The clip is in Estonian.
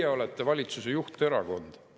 Teie olete valitsuse juhterakond.